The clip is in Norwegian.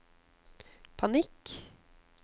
panikk